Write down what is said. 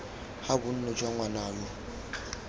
ga bonno jwa ngwana yoo